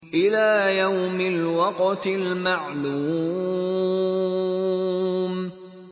إِلَىٰ يَوْمِ الْوَقْتِ الْمَعْلُومِ